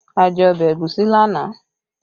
A jẹ ọbẹ̀ ẹ̀gúsí lánàá